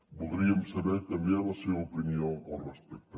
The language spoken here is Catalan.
voldríem saber també la seva opinió al respecte